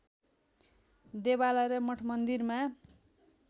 देवालय र मठमन्दिरमा